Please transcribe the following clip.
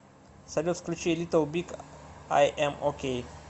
салют включи литл биг ай эм окей